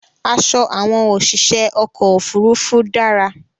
Aṣọ àwọn òṣìṣẹ́ ọkọ̀ ofúrufú dára